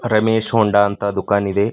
Ramesh Honda ಅಂತ ದುಖಾನ್ ಇದೆ.